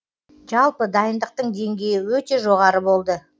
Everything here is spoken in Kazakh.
жалпы дайындықтың деңгейі өте жоғары болды